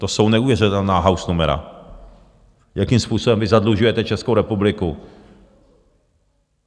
To jsou neuvěřitelná hausnumera, jakým způsobem vy zadlužujete Českou republiku.